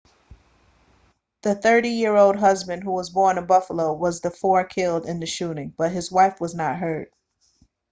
the 30-year-old husband who was born in buffalo was one of the four killed in the shooting but his wife was not hurt